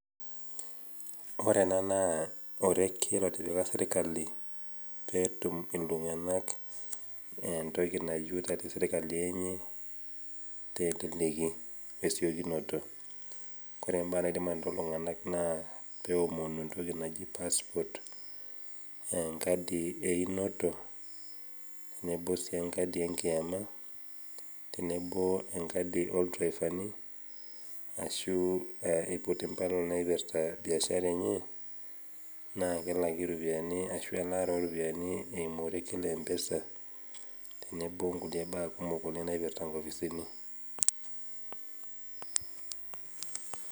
Ore ena naa orekie lotipika sirkali peetum iltunganak entoki nayieu te sirkali enye teleleki we esiokinoto. Ore imbaa naidim anoto iltunganak naa peomonu entoki naji passport enkadi einoto , tenebo sii wenkadi enkiama ,tenebo sii enkadi olderefani ashu aiput impala naipirta biashara enye naa kelaki iropiyiani ashu elaata oropiyiani eimu orekie lempesa tenebo onkulie baa kumok naipirta nkopisini.